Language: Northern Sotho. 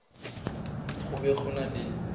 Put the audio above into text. go be go ena le